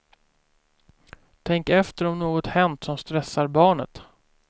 Tänk efter om något hänt som stressar barnet.